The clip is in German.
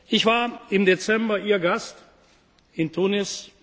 Ich war im Dezember Ihr Gast in Tunis.